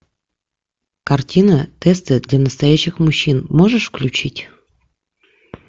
картина тесты для настоящих мужчин можешь включить